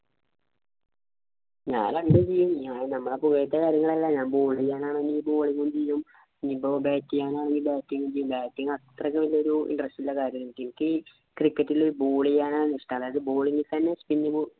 ഞാൻ രണ്ടും ചെയ്യും. നമ്മളെ പുകഴ്ത്തലല്ല ഞാൻ ball ചെയ്യാനാണെങ്കിൽ bowling ഉം ചെയ്യും. ഇനി ഇപ്പൊ bat ചെയ്യാനാണെങ്കിൽ batting ചെയ്യും batting അത്രക്ക് വലിയൊരു interest ട്ടുള്ള കാര്യമായെനിക്. എനിക്ക് cricket ൽ ball ചെയ്യാനാണ് ഇഷ്ട്ടം. അതിപ്പോ bowling ൽ തന്നെ spin ball